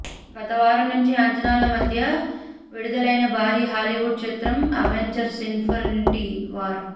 గతవారం మంచి అంచనాల మధ్య విడుదలయిన భారీ హాలీవుడ్ చిత్రం అవెంజర్స్ ఇన్ఫినిటీ వార్